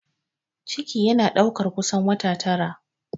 Ciki yana ɗaukar kusan wata tara